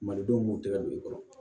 Malidenw b'u tɛgɛ don i kɔrɔ